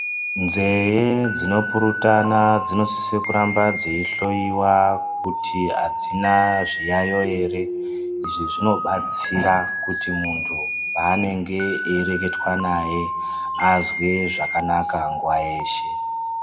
Nzeye dzinopurutana dzinosisa kuramba dzeihloiwa kuti adzina zviyayo ere izvi zvinobatsira kuti muntu paunenge eireketwa naye azwe zvakanaka nguwa yeshe.